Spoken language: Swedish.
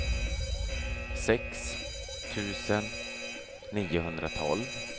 sex tusen niohundratolv